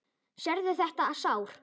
Sérðu þetta sár?